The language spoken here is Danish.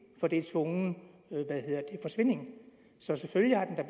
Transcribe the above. er tvungen forsvinding så selvfølgelig har den da